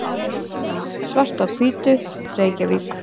Svart á hvítu, Reykjavík.